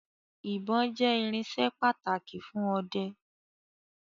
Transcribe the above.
Ìbon jẹ́ irinsẹ́ pàtàkì fún ọdẹ